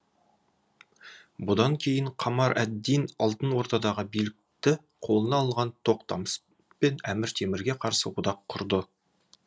бұдан кейін қамар әд дин алтын ордадағы билікті қолына алған тоқтамыспен әмір темірге қарсы одақ құрды